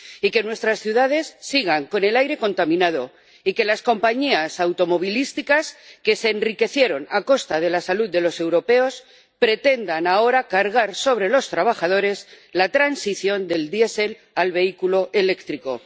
y que nuestras ciudades sigan con el aire contaminado y que las compañías automovilísticas, que se enriquecieron a costa de la salud de los europeos, pretendan ahora cargar sobre los trabajadores la transición del diésel al vehículo eléctrico.